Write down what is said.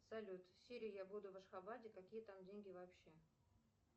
салют сири я буду в ашхабаде какие там деньги вообще